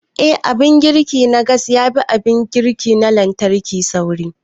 Eh, Abin girki na gas yafi abin girki na lantarki sauri.